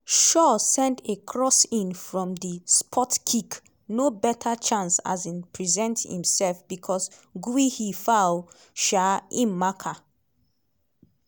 shaw send a cross in from di spotkick no better chance um present imsef becos guehi foul um im marker.